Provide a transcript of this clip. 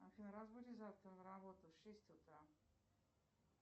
афина разбудишь завтра на работу в шесть утра